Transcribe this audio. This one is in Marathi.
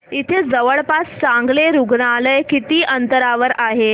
इथे जवळपास चांगलं रुग्णालय किती अंतरावर आहे